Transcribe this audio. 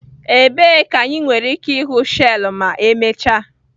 Ebee ka anyị nwere ike ịhụ shells ma emechaa?